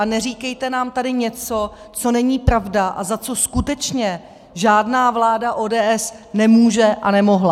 A neříkejte nám tady něco, co není pravda a za co skutečně žádná vláda ODS nemůže a nemohla.